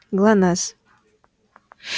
глонассс